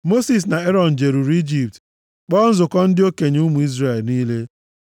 Mosis na Erọn jeruru Ijipt kpọọ nzukọ ndị okenye ụmụ Izrel niile.